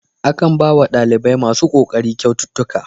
Akan bawa ɗalibai masu kokari kyaututtuka.